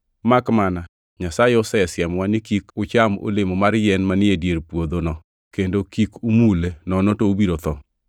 makmana Nyasaye nosiemowa ni, ‘Kik ucham olemo mar yien man e dier puodhono, kendo kik umule nono to ubiro tho.’ ”